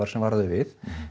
sem vara við